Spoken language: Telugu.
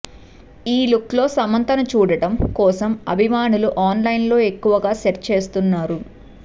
ఈ లుక్ లో సమంతని చూడడం కోసం అభిమానులు ఆన్ లైన్లో ఎక్కువగా సెర్చ్ చేస్తున్నారు